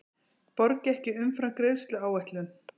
Borgi ekki umfram greiðsluáætlun